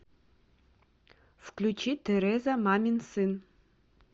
включи тереза мамин сын